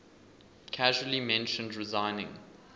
casually mentioned resigning